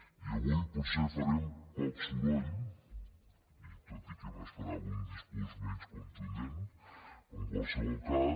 i avui potser farem poc soroll i tot i que m’esperava un discurs menys contundent però en qualsevol cas